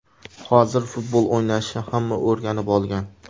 Hozir futbol o‘ynashni hamma o‘rganib olgan.